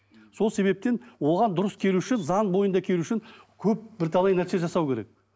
сол себептен оған дұрыс келу үшін заң бойында келу үшін көп бірталай нәрсе жасау керек